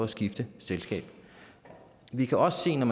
skifte selskab vi kan også se når